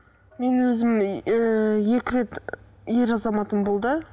мен өзім ііі екі рет ер азаматым болды